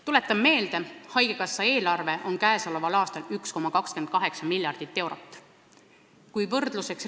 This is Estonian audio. Tuletan meelde, haigekassa eelarve on käesoleval aastal 1,28 miljardit eurot ehk kümnendik riigieelarvest.